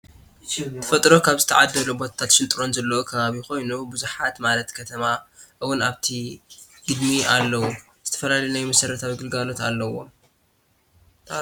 ተፈጥሮ ካብ ዝተዓደሎቶ ጎታተት ሽንጥሮታት ዘለዎ ከባቢ ኮይኑ ብዙሓት ማላት ከተማ እወን ኣብቲ ግድሚ ኣለው ዝተፈላለዩ ናይ መሰረታዊ ግልጋሎት ኣለውዎ።